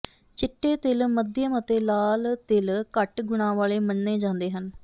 ਚਿੱਟੇ ਤਿਲ ਮੱਧਿਅਮ ਅਤੇ ਲਾਲ ਤਿਲ ਘੱਟ ਗੁਣਾਂ ਵਾਲੇ ਮੰਨੇ ਜਾਂਦੇ ਹਨ